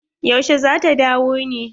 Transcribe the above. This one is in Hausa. Yaushe zata dawo ne?